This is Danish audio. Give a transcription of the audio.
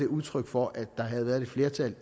udtryk for at der havde været et flertal